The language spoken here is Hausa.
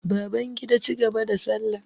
Babangida cigaba da salla.